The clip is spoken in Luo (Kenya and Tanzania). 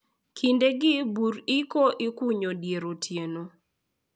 Kindegi bur iko ikunyo dier otieno.